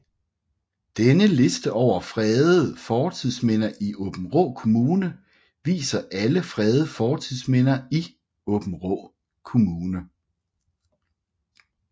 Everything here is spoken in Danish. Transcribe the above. Denne liste over fredede fortidsminder i Aabenraa Kommune viser alle fredede fortidsminder i Aabenraa Kommune